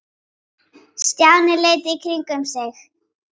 Stjáni leit í kringum sig.